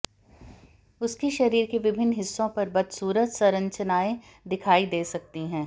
उसके शरीर के विभिन्न हिस्सों पर बदसूरत संरचनाएं दिखाई दे सकती हैं